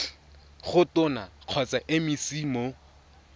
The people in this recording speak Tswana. go tona kgotsa mec mo